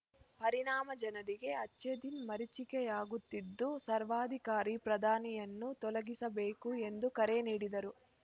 ಪರಿಣಾಮ ಜನರಿಗೆ ಅಚ್ಛೇದಿನ್‌ ಮರೀಚಿಕೆಯಾಗುತ್ತಿದ್ದು ಸರ್ವಾಧಿಕಾರಿ ಪ್ರಧಾನಿಯನ್ನು ತೊಲಗಿಸಬೇಕು ಎಂದು ಕರೆ ನೀಡಿದರು